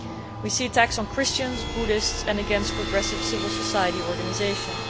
We see attacks on Christians, Buddhists and against progressive civil society organisations.